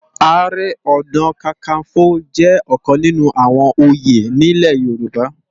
Àárè òná kàkánfó jè òkán ninú áwòn óyé nilé Yoruba